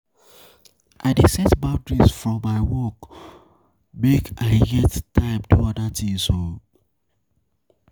I dey set boundaries for my work o make I get time do oda tins.